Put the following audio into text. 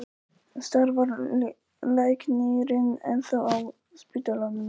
En starfar læknirinn ennþá á spítalanum?